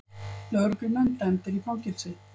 Lögreglumenn dæmdir í fangelsi